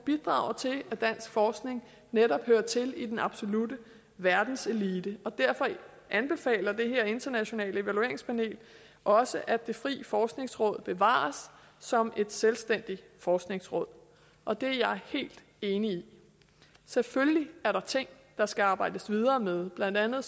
bidrager til at dansk forskning netop hører til i den absolutte verdenselite og derfor anbefaler det her internationale evalueringspanel også at det frie forskningsråd bevares som et selvstændigt forskningsråd og det er jeg helt enig i selvfølgelig er der ting der skal arbejdes videre med blandt andet